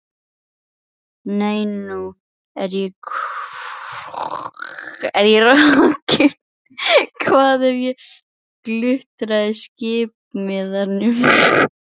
Nei, nú er ég rokin, hvar hef ég glutrað skiptimiðanum?